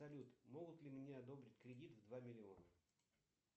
салют могут ли мне одобрить кредит в два миллиона